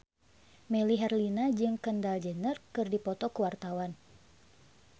Melly Herlina jeung Kendall Jenner keur dipoto ku wartawan